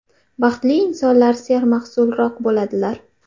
Baxtli insonlar sermahsulroq bo‘ladilar.